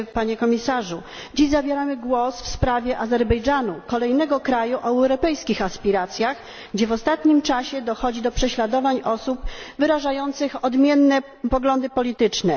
Panie Komisarzu! Dziś zabieramy głos w sprawie Azerbejdżanu, kolejnego kraju o europejskich aspiracjach, gdzie w ostatnim czasie dochodzi do prześladowań osób wyrażających odmienne poglądy polityczne.